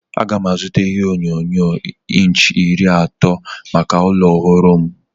Aga m azụta ihe onyonyo inch iri atọ maka ụlọ ọhụrụ m.